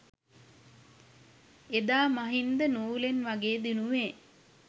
එදා මහින්ද නූලෙන් වගේ දිනුවේ